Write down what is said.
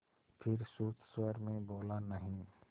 फिर सुस्त स्वर में बोला नहीं